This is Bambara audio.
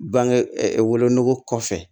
Bange wolonugu kɔfɛ